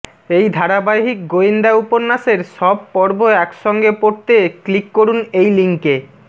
এই ধারাবাহিক গোয়েন্দা উপন্যাসের সব পর্ব এক সঙ্গে পড়তে ক্লিক করুন এই লিংকে